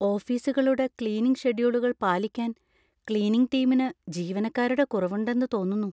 ഓഫീസുകളുടെ ക്ലീനിംഗ് ഷെഡ്യൂളുകൾ പാലിക്കാൻ ക്ളീനിംഗ് ടീമിന് ജീവനക്കാരുടെ കുറവുണ്ടെന്ന് തോന്നുന്നു.